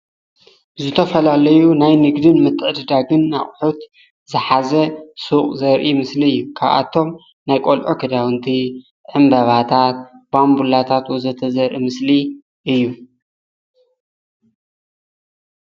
ዝተፈላለዩ ናይ ንግድን ምትዕድዳግን ኣቁሕት ዝሓዘ ሱቅ ዘርኢ ምስሉ እዩ፡፡ ካብቶም ናይ ቆልዑ ክዳውንቲ፣ ዕንበባታት፣ ባምቡላታት ዘርኢ ወዘተ ዘርኢ ምስሊ እዩ፡፡